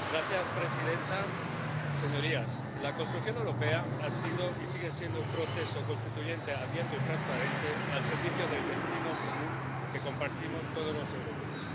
Señora presidenta, señorías, la construcción europea ha sido y sigue siendo un proceso constituyente, abierto y transparente al servicio del destino común que compartimos todos los europeos.